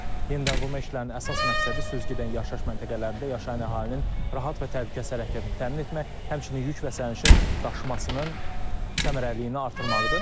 Yenidənqurma işlərinin əsas məqsədi süzgidən yaşayış məntəqələrində yaşayan əhalinin rahat və təhlükəsiz hərəkətini təmin etmək, həmçinin yük və sənişin daşımasının səmərəliliyini artırmaqdır.